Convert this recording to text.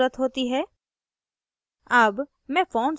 यहाँ यूज़रनेम की ज़रुरत होती है